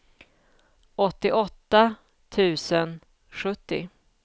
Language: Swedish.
åttioåtta tusen sjuttio